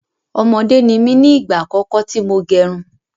Ọmọdé ni mí ní igba àkọ́kọ́ tí mo gerun